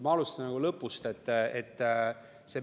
Ma alustan lõpust.